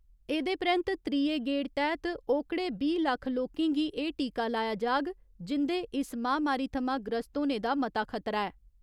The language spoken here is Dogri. एह्दे परैन्त त्रीये गेड़ तैह्त ओकड़े बीह् लक्ख लोकें गी एह् टीका लाया जाग जिं'दे इस महामारी थमां ग्रस्त होने दा मता खतरा ऐ।